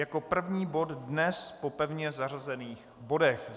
Jako první bod dnes po pevně zařazených bodech.